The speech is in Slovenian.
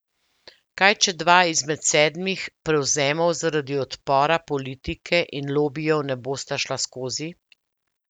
Kaj, če dva izmed sedmih prevzemov zaradi odpora politike in lobijev ne bosta šla skozi?